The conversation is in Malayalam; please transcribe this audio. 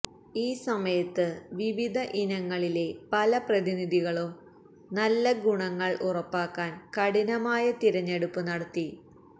ഈ സമയത്ത് വിവിധ ഇനങ്ങളിലെ പല പ്രതിനിധികളും നല്ല ഗുണങ്ങൾ ഉറപ്പാക്കാൻ കഠിനമായ തിരഞ്ഞെടുപ്പ് നടത്തി